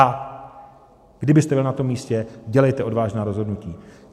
A kdybyste byl na tom místě, dělejte odvážná rozhodnutí.